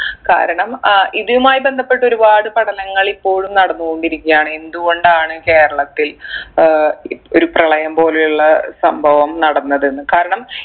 കാരണം അഹ് ഇതുമായി ബന്ധപ്പെട്ട് ഒരുപാട് പഠനങ്ങൾ ഇപ്പോഴും നടന്ന് കൊണ്ടിരിക്കാണ് എന്ത്‌ കൊണ്ടാണ് കേരളത്തിൽ ഏർ രു ഒരു പ്രളയം പോലെയുള്ള സംഭവം നടന്നതെന്ന് കാരണം